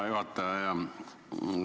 Hea juhataja!